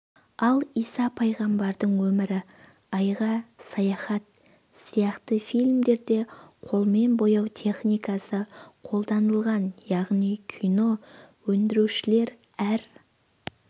ал иса пайғамбардың өмірі айға саяхат сияқты фильмдерде қолмен бояу техникасы қолданылған яғни кино өндірушілер әр